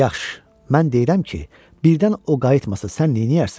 Yaxşı, mən deyirəm ki, birdən o qayıtmasa sən neyləyərsən?